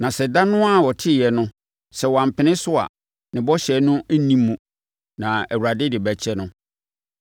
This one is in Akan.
Na sɛ ɛda no ara a ɔteeɛ no, sɛ wampene so a, ne bɔhyɛ no nni mu na Awurade de bɛkyɛ no.